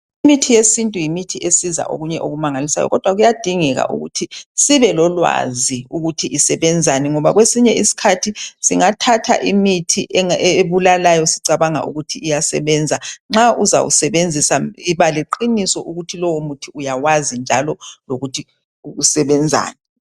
Imithi yesintu yimithi esiza okunye okumangalisayo, kodwa kuyadingeka ukuthi sibe lolwazi ukuthi isebenzani ngoba kwesinye isikhathi singathatha imithi ebulalayo sicabanga ukuthi iyasebenza. Nxa uzawusebenzisa yiba leqiniso ukuthi uyawazi njalo lokuthi usebenzani.